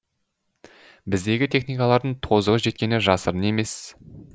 біздегі техникалардың тозығы жеткені жасырын емес